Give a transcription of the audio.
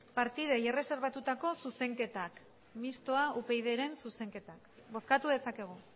partidei erreserbatuta zuzenketak mistoa upydren zuzenketak bozkatu dezakegu